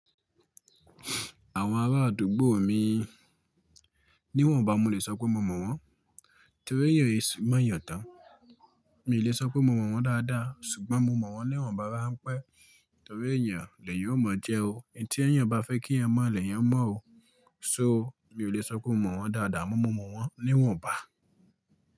Àwọn ará àdúgbò mi, níwọ̀nba mo lè sọ pé mo mọ̀ wọ́n, torí èèyàn è sun máa yàn tán. Mi ò lè sọ pé mo mọ̀ wọ́n dáadáa ṣùgbọ́n mo mọ̀ wọ́n niwọ̀nba ráńpẹ́, torí èèyàn lẹ̀ eyan yóò mọ̀ jẹ́ o. Ẹni tí ẹ̀yàn bá fẹ́ kí ẹ mọ̀ lẹ̀ yẹn mọ̀ o. So mi ò lè sọ pé mo mọ̀ wọ́n dáadáa amọ́, mo mọ̀ wọ́n níwọ̀nba.